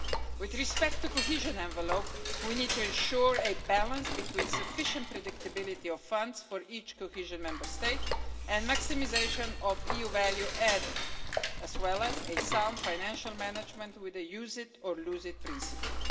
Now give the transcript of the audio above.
With respect to the cohesion envelope, we need to ensure a balance between sufficient predictability of funds for each cohesion Member State and maximisation of EU value added, as well as a sound financial management with a use it or lose it' principle.